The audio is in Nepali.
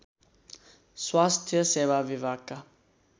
स्वास्थ्य सेवा विभागका